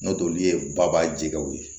N'olu ye baba jɛgɛw ye